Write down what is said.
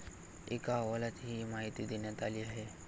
एका अहवालात ही माहिती देण्यात आली आहे.